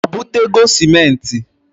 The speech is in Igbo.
O butego simenti?